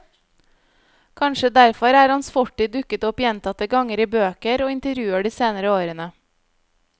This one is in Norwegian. Kanskje derfor er hans fortid dukket opp gjentatte ganger i bøker og intervjuer de senere årene.